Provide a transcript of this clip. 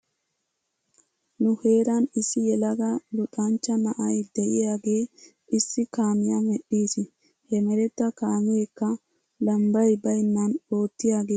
Nu heeran issi yelaga luxanchcha na'ay de'iyaagee issi kaamiyaa medhdhiis. He meretta kaameekka labbay baynnan oottiyaagee ayba lo'ees giidetii ?